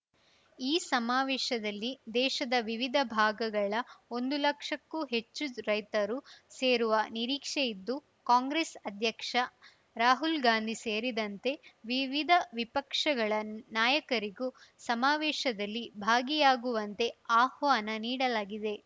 ಈ ಸಮಾವೇಶದಲ್ಲಿ ದೇಶದ ವಿವಿಧ ಭಾಗಗಳ ಒಂದು ಲಕ್ಷಕ್ಕೂ ಹೆಚ್ಚು ರೈತರು ಸೇರುವ ನಿರೀಕ್ಷೆ ಇದ್ದು ಕಾಂಗ್ರೆಸ್‌ ಅಧ್ಯಕ್ಷ ರಾಹುಲ್‌ ಗಾಂಧಿ ಸೇರಿದಂತೆ ವಿವಿಧ ವಿಪಕ್ಷಗಳ ನಾಯಕರಿಗೂ ಸಮಾವೇಶದಲ್ಲಿ ಭಾಗಿಯಾಗುವಂತೆ ಆಹ್ವಾನ ನೀಡಲಾಗಿದೆ